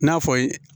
N'a fɔ